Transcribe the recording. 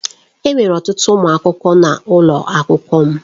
Enwere ọtụtụ ụmụ akwụkwọ n'ụlọ akwụkwọ m.